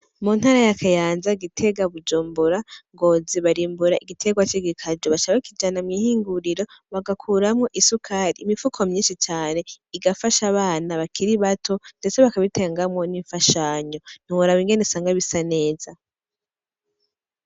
Mu ntara ya Kayanza; Gitega; Bujumbura; Ngozi; barimbura igitegwa c'igikaju, baca bakijana mw'ihinguriro bagakuramwo isukari, imifuko myinshi cane igafasha abana bakiri bato, ndetse bakabitangamwo n'imfashanyo, ntiworaba ingene usanga bisa neza.